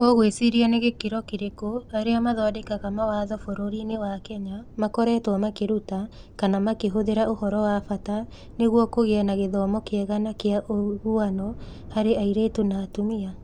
Ũgwĩciria nĩ gĩkĩro kĩrĩkũ arĩa mathondekaga mawatho bũrũri-inĩ wa Kenya makoretwo makĩruta kana makĩhũthĩra ũhoro wa bata nĩguo kũgĩe na gĩthomo kĩega na kĩa ũiguano harĩ airĩtu na atumia?